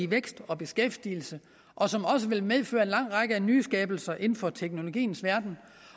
vækst og beskæftigelse og som vil medføre en lang række nyskabelser inden for teknologiens verden